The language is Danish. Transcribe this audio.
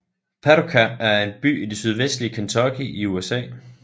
Paducah er en by i det sydvestlige Kentucky i USA